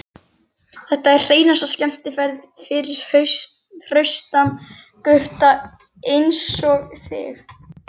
Hann var fagurlimaður og bar sig vel.